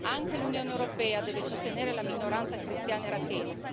Anche l'Unione europea deve sostenere la minoranza cristiana irachena.